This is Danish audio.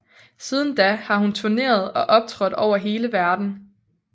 Siden da har hun turneret og optrådt over hele verden